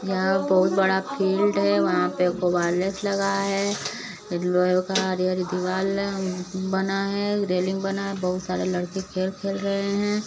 यहाँ बहुत बड़ा फिल्ड है वहाँ पे लगा है। एक लोहे का हरी -हरी दीवाल है बना है रेलिंग बना है बहुत सारे लड़के खेल खेल रहे हैं।